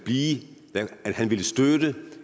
i